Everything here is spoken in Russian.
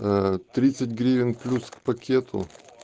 аа тридцать гривен плюс к пакету